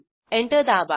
enter दाबा